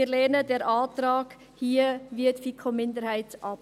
Wir lehnen den Antrag – wie die FiKo-Minderheit – ab.